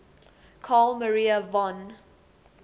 carl maria von